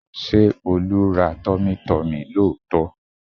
Ṣé Olú ra tummytummy lóòótọ́?